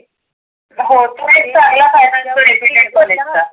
हो तो एक फायदा आहे कॉलेज चा.